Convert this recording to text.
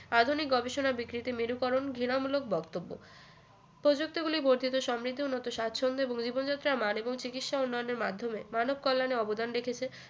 আধুনিক গবেষণায় বিকৃতি মেরুকরণ ঘৃণামূলক বক্তব্য প্রযুক্তি গুলি বর্ধিত সমৃদ্ধ মতো সাচ্ছন্দ এবং জীবন যাত্রায় মান এবং চিকিৎসার উন্নয়নের মাধ্যমে মানব কল্যানে অবদান রেখেছে